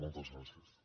moltes gràcies